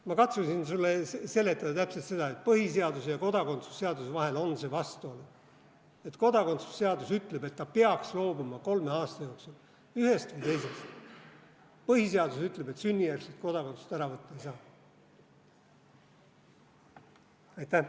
Ma katsusin sulle seletada täpselt seda, et põhiseaduse ja kodakondsuse seaduse vahel on see vastuolu: kodakondsuse seadus ütleb, et ta peaks loobuma kolme aasta jooksul ühest või teisest, põhiseadus ütleb, et sünnijärgset kodakondsust ära võtta ei saa.